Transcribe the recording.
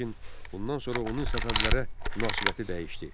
Lakin bundan sonra onun Səfəvilərə münasibəti dəyişdi.